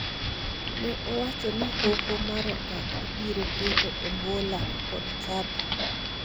ne owacho ni Hoho mar Okak ibiro keto e bwo lak kod chapa